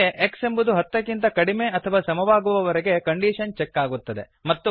ಹೀಗೆ x ಎಂಬುದು ಹತ್ತಕ್ಕಿಂತ ಕಡಿಮೆ ಅಥವಾ ಸಮವಾಗುವವರೆಗೆ ಕಂಡೀಶನ್ ಚೆಕ್ ಆಗುತ್ತದೆ